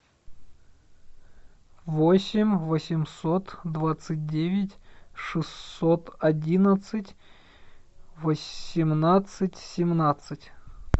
восемь восемьсот двадцать девять шестьсот одиннадцать восемнадцать семнадцать